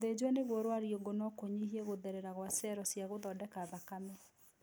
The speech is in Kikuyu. Gũthĩnjwo nĩguo rwariũngũ no kũnyihie gũtherera gwa cero cia gũthondeka thakame